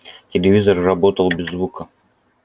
телевизор работал без звука